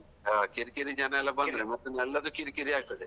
ಹಾ ಕಿರಿ ಕಿರಿ ಜನ ಎಲ್ಲಾ ಬಂದ್ರೆ ಮತ್ತೆ ಎಲ್ಲಾದೆ ಕಿರಿ ಕಿರಿ ಆಗ್ತದೆ.